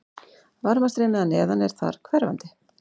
Varmastreymi að neðan er þar hverfandi.